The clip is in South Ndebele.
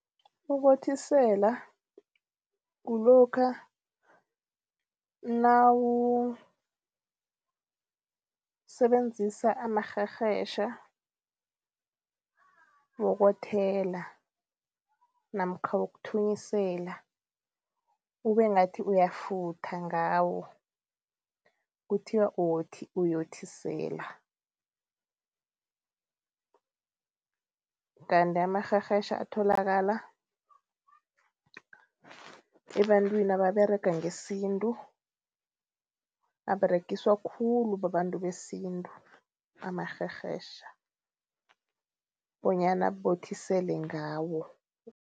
Ukothisela kulokha nawusebenzisa amarherhetjha wokothela namkha wokuthunyisela ube ngathi uyafutha ngawo, kuthiwa uyothisela. Kanti amarherhetjha atholakala ebantwini ababerega ngesintu, aberegiswa khulu babantu besintu amarherhetjha bonyana bothisele ngawo.